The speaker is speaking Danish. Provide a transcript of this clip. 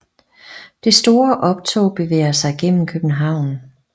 Det store optog bevæger sig gennem København